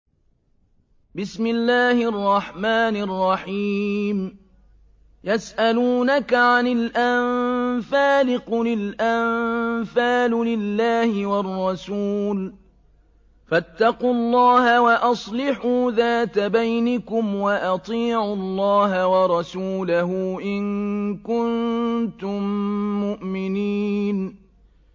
يَسْأَلُونَكَ عَنِ الْأَنفَالِ ۖ قُلِ الْأَنفَالُ لِلَّهِ وَالرَّسُولِ ۖ فَاتَّقُوا اللَّهَ وَأَصْلِحُوا ذَاتَ بَيْنِكُمْ ۖ وَأَطِيعُوا اللَّهَ وَرَسُولَهُ إِن كُنتُم مُّؤْمِنِينَ